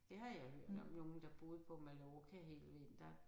Det har jeg hørt om nogle der boede på Mallorca hele vinteren